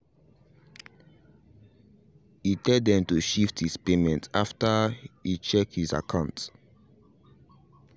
he tell them to shift his payment after he check his akant